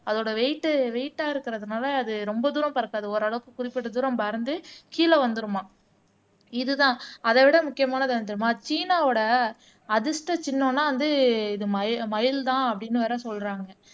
அதோட வெயிட் வெயிட்டா இருக்கறதுனால அது ரொம்ப தூரம் பறக்காது ஓரளவுக்கு, குறிப்பிட்ட தூரம் பறந்து கீழே வந்துருமாம் இதுதான் அதைவிட முக்கியமானது என்ன தெரியுமா சீனாவோட அதிர்ஷ்ட சின்னம்னா வந்து இது மயி மயில்தான் அப்படின்னு வேற சொல்றாங்க